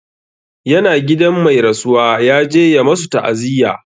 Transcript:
Ya na gidan mai rasuwa, ya je ya masu ta'aziyya.